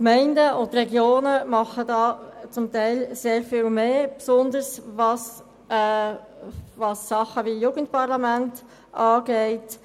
Die Gemeinden und die Regionen machen diesbezüglich zum Teil sehr viel mehr, besonders was Dinge wie das Jugendparlament betrifft.